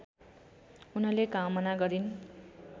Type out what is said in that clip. उनले कामना गरिन्